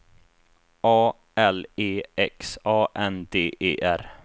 A L E X A N D E R